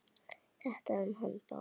Þetta um hann Bárð?